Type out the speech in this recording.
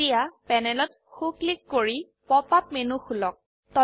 এতিয়া প্যানেলত সো ক্লিক কৰি পপ আপ মেনু খুলক